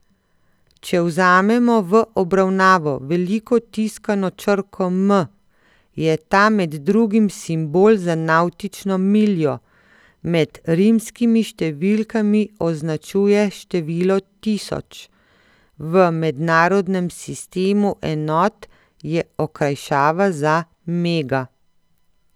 Če vzamemo v obravnavo veliko tiskano črko M, je ta med drugim simbol za navtično miljo, med rimskimi številkami označuje število tisoč, v mednarodnem sistemu enot je okrajšava za mega.